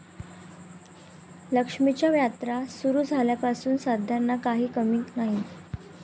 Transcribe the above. लक्ष्मीच्या यात्रा सुरु झाल्यापासून साद्यांना काही कमी नाही.